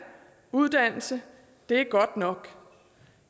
uddannelse det er godt nok